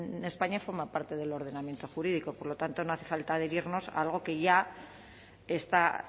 en españa forman parte del ordenamiento jurídico por lo tanto no hace falta adherirnos a algo que ya está